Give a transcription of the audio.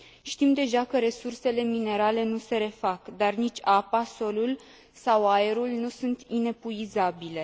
Știm deja că resursele minerale nu se refac, dar nici apa, solul sau aerul nu sunt inepuizabile.